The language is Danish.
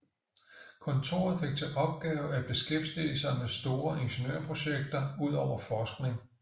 Kontoret fik til opgave at beskæftige sig med store ingeniørprojekter udover forskning